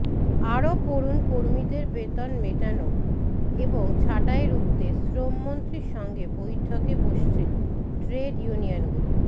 আরও পড়ুন কর্মীদের বেতন মেটানো এবং ছাঁটাই রুখতে শ্রমমন্ত্রীর সঙ্গে বৈঠকে বসছে ট্রেড ইউনিয়নগুলি